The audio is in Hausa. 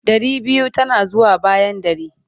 Ɗari biyu tana zuwa bayan ɗari.